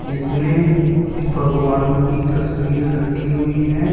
इसमे कुछ भगवानो की तस्वीर रखी हुई है।